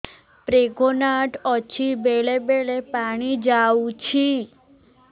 pregnant ଅଛି ବେଳେ ବେଳେ ପାଣି ଯାଉଛି